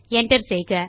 Enter செய்க